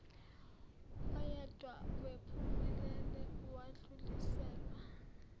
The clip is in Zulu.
oyedwa waphumelela wadluliselwa